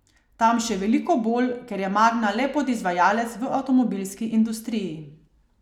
Tam še veliko bolj, ker je Magna le podizvajalec v avtomobilski industriji.